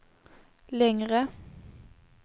längre